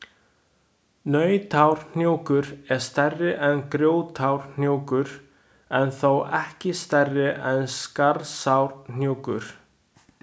Nautárhnjúkur er stærri en Grjótárhnjúkur, en þó ekki stærri en Skarðsárhnjúkur.